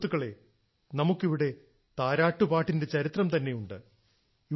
സുഹൃത്തുക്കളേ നമുക്കിവിടെ താരാട്ടുപാട്ടിന്റെ ചരിത്രം തന്നെ ഉണ്ട്